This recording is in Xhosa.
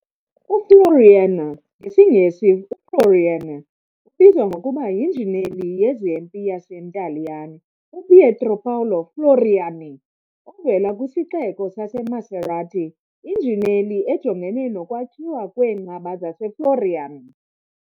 UFloriana, ngesiNgesi "uFloriana", ubizwa ngokuba yinjineli yezempi yaseNtaliyane uPietro Paolo Floriani, ovela kwisixeko saseMacerata, injineli ejongene nokwakhiwa kweenqaba zaseFloriana.